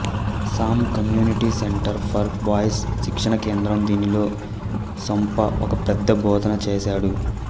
సాం community centre for boys శిక్షణా కేంద్రం దీనిలో సాంఉప ఒక పెద్ద బోధన చేసాడు